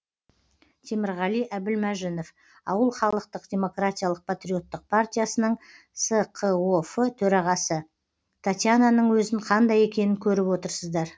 темірғали әбілмәжінов ауыл халықтық демократиялық патриоттық партиясының сқоф төрағасы татьянаның өзін қандай екенін көріп отырсыздар